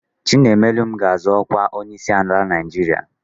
Chinaemelụm ga-azọ ọkwa onyeisiala Naijiria.